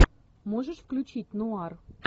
можешь включить нуар